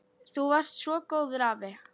Þú varst svo góður afi.